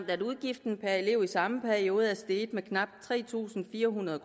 at udgiften per elev i samme periode er steget med knap tre tusind fire hundrede